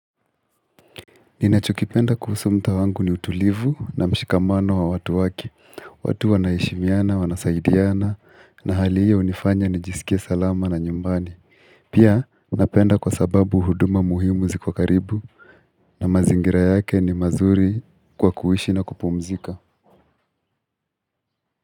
Ninachokipenda kuhusu mta wangu ni utulivu na mshikamano wa watu wake, watu wanaeshimiana, wanasaidiana, na halii iyo unifanya nijisikie salama na nyumbani. Pia, unapenda kwa sababu huduma muhimu ziko karibu na mazingira yake ni mazuri kwa kuishi na kupumzika.